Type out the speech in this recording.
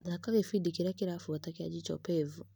Thaka gĩbindi kĩrĩa kĩrabuata kĩa Jicho Pevu.